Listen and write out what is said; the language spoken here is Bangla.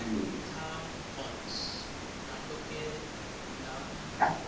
একটা কংস নাটকের নাম